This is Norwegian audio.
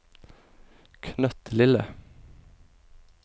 knøttlille